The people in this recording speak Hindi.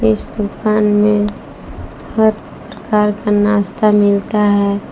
इस दुकान में हर प्रकार का नाश्ता मिलता है।